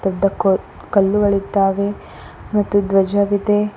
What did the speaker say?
ದೊಡ್ಡ ಕ ಕಲ್ಲುಗಳಿದ್ದಾವೆ ಮತ್ತು ಧ್ವಜವಿದೆ.